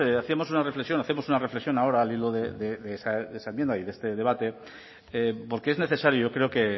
hacíamos una reflexión hacemos una reflexión ahora al hilo de esa enmienda y de este debate porque es necesario yo creo que